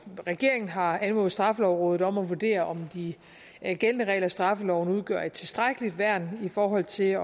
regeringen har anmodet straffelovrådet om at vurdere om de gældende regler i straffeloven udgør et tilstrækkeligt værn i forhold til